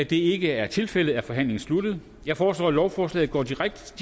det ikke er tilfældet er forhandlingen sluttet jeg foreslår at lovforslaget går direkte til